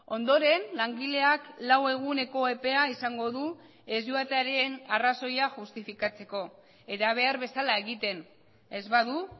ondoren langileak lau eguneko epea izango du ez joatearen arrazoia justifikatzeko eta behar bezala egiten ez badu